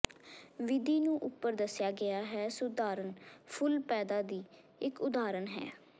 ਵਿਧੀ ਨੂੰ ਉਪਰ ਦੱਸਿਆ ਗਿਆ ਹੈ ਸੁਧਾਰਨ ਫੁੱਲ ਪੈਦਾ ਦੀ ਇੱਕ ਉਦਾਹਰਨ ਹੈ